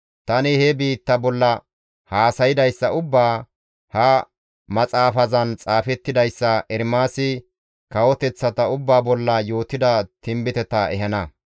Tani he biitta bolla haasaydayssa ubbaa, ha maxaafazan xaafettidayssa, Ermaasi kawoteththata ubbaa bolla yootida tinbiteta ehana.